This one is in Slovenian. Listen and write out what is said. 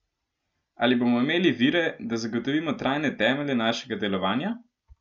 Ali bomo imeli vire, da zagotovimo trajne temelje našega delovanja?